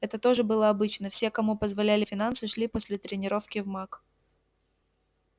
это тоже было обычно все кому позволяли финансы шли после тренировки в мак